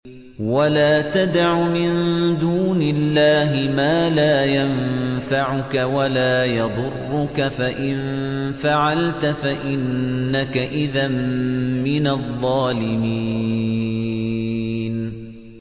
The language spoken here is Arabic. وَلَا تَدْعُ مِن دُونِ اللَّهِ مَا لَا يَنفَعُكَ وَلَا يَضُرُّكَ ۖ فَإِن فَعَلْتَ فَإِنَّكَ إِذًا مِّنَ الظَّالِمِينَ